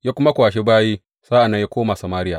Ya kuma kwashi bayi sa’an nan ya koma Samariya.